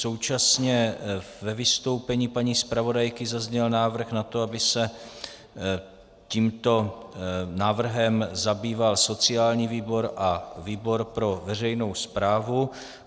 Současně ve vystoupení paní zpravodajky zazněl návrh na to, aby se tímto návrhem zabýval sociální výbor a výbor pro veřejnou správu.